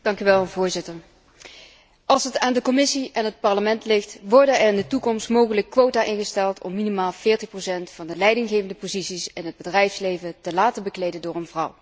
Voorzitter, als het aan de Commissie en het Parlement ligt, worden er in de toekomst mogelijk quota ingesteld om minimaal 40 van de leidinggevende posities in het bedrijfsleven te laten bekleden door een vrouw.